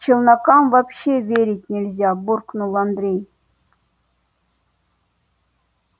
челнокам вообще верить нельзя буркнул андрей